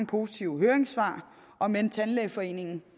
positive høringssvar om end tandlægeforeningen